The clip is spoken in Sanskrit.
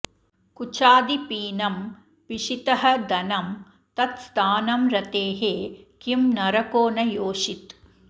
कुचादि पीनं पिशितः धनं तत् स्थानं रतेः किं नरको न योषित्